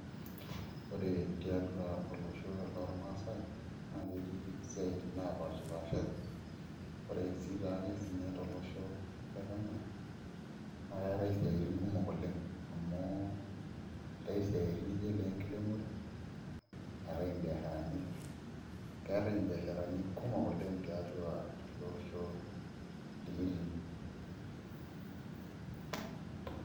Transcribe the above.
Ore tiatua olosho lorrmaasai naa ketii isiaitin naapaashipaashari ore sii taake tolosho le Kenya naa keetai isiaitin kumok oleng' amu eetai isiaitin nijio inenkiremore neetai mbiasharani keetai mbiasharani kumok oleng' tiatua ele osho likitii.